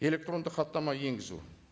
электрондық хаттама енгізу